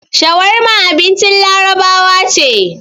Shawarma abincin Larabawa ce.